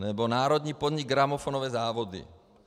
Nebo národní podnik Gramofonové závody.